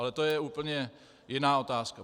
Ale to je úplně jiná otázka.